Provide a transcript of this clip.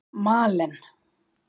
Malen